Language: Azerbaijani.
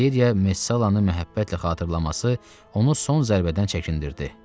Valeriya Mesallanı məhəbbətlə xatırlaması onu son zərbədən çəkindirdi.